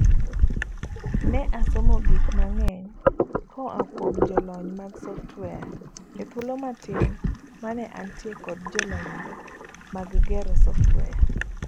Ne asomo gik mang'eny koa kuom jolony mag software ethuolo matin mane antie kod jolonygo mag gero software.